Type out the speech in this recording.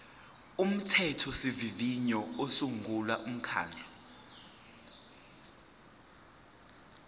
umthethosivivinyo usungula umkhandlu